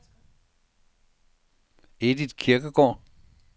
Edith Kirkegaard